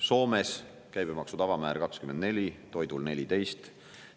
Soomes on käibemaksu tavamäär 24%, toidul 14%.